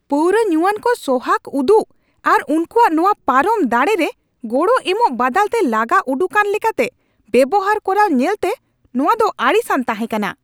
ᱯᱟᱣᱨᱟᱹ ᱧᱩᱣᱟᱱ ᱠᱚ ᱥᱚᱦᱟᱜᱽ ᱩᱫᱩᱜ ᱟᱨ ᱩᱱᱠᱩᱣᱟᱜ ᱱᱚᱶᱟ ᱯᱟᱨᱚᱢ ᱫᱟᱲᱮ ᱨᱮ ᱜᱚᱲᱚ ᱮᱢᱚᱜ ᱵᱟᱫᱟᱞᱛᱮ ᱞᱟᱜᱟ ᱩᱰᱩᱠᱟᱱ ᱞᱮᱠᱟᱛᱮ ᱵᱮᱣᱦᱟᱨ ᱠᱚᱨᱟᱣ ᱧᱮᱞᱛᱮ ᱱᱚᱶᱟ ᱫᱚ ᱟᱹᱲᱤᱥᱟᱱ ᱛᱟᱦᱮᱸ ᱠᱟᱱᱟ ᱾